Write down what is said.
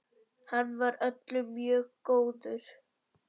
Hann var öllum mjög góður.